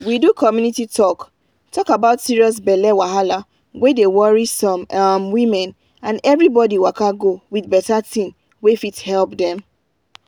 we do community talk talk about serious belle wahala wey dey worry some um women and everybody waka go with better thing wey fit help dem.